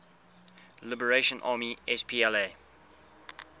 liberation army spla